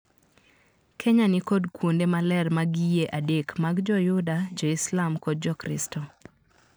Kenya nikod kuonde maler mag yie adek mag joyuda, joislam kod jokristo.